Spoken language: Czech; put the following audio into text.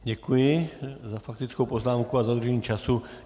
Děkuji za faktickou poznámku a dodržení času.